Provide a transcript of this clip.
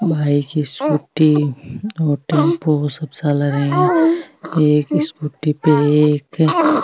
एक स्कूटी पे --